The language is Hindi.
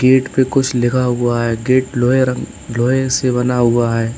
गेट पे कुछ लिखा हुआ है गेट लोहे रंग लोहे से बना हुआ है।